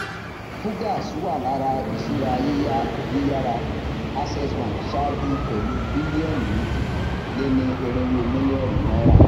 fugaz wà lára ìṣúra yíyá yíyára access bank ṣáájú pẹlú bílíọnù méjì léni irínwó mílíọnù náírà